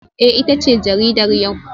Eh ita ce jaridar yau